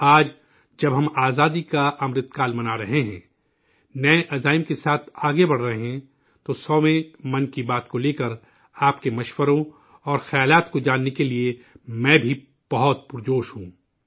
آج جب ہم آزادی کا امرت کال منا رہے ہیں، نئے عزائم کے ساتھ آگے بڑھ رہے ہیں، تو سوویں 100ویں 'من کی بات' کو لے کر، آپ کے مشوروں، اور خیالات کو جاننے کے لیے میں بھی بہت پرجوش ہوں